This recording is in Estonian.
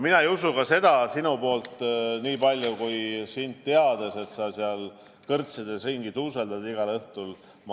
Mina ei usu ka seda – nii palju sind teades –, et sa seal kõrtsides ringi tuuseldad igal õhtul.